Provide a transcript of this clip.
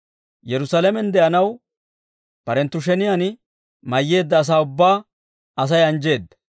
Yerusaalamen de'anaw barenttu sheniyaan mayyeedda asaa ubbaa Asay anjjeedda.